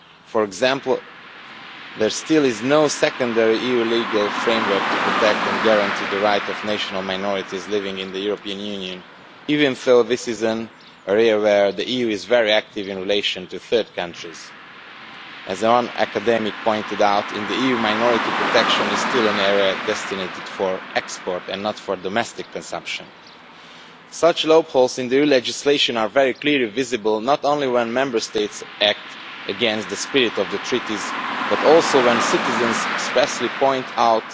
For example, there is still no secondary EU legal framework to protect and guarantee the rights of national minorities living in the European Union, even though this is an area where the EU is very active in relation to third countries. As one academic pointed out, in the EU, minority protection is still an area destined for export and not for domestic consumption. Such loopholes in EU legislation are very clearly visible, not only when Member States act against the spirit of the Treaties but also when citizens expressly point out